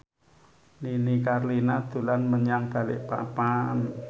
Nini Carlina dolan menyang Balikpapan